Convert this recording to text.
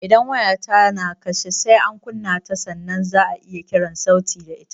Idan waya ta na kashe, sai an kunna ta sannan za'a iya kiran sauti da ita